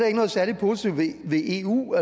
ikke noget særlig positivt ved eu